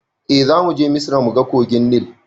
Eh zamuje misra muga kogin nil